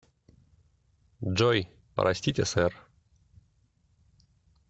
джой простите сэр